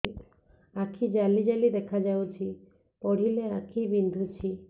ଆଖି ଜାଲି ଜାଲି ଦେଖାଯାଉଛି ପଢିଲେ ଆଖି ବିନ୍ଧୁଛି